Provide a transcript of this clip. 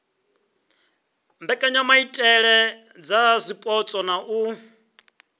mbekanyamaitele dza zwipotso na u